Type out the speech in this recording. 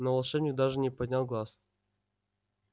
но волшебник даже не поднял глаз